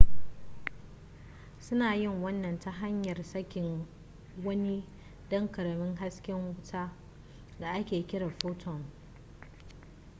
suna yin wannan ta hanyar sakin wani ɗan ƙaramin hasken wuta da ake kira photon